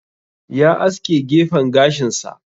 Ya aske gefen gashin sa.